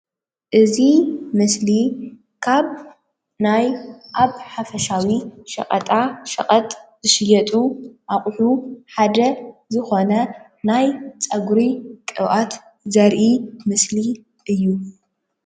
እዚ ምስሊ ካብ ናይ ኣብ ሓፈሻዊ ሸቀጣ ሸቐጥ ዝሽየጡ ኣቑሑ ሓደ ዝኾነ ናይ ፀጉሪ ቅብኣት ዘርኢ ምስሊ እዩ።